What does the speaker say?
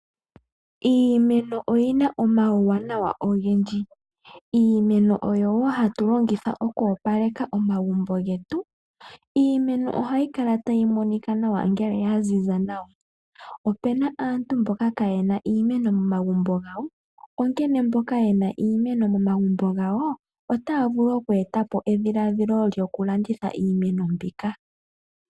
Iimeno oyina omauwanawa ogendji, iimeno oyo woo hatu longitha okoopaleka omagumbo getu. Iimeno ohayi kala tayi monika nawa ngele yaziza nawa. Opuna aantu mboka kaaye na iimeno mamagumbo gawo, onkene mboka ye na iimeno momagumbo gawo otayavulu okweeta po edhiladhilo lyoku landitha iimeno mbika.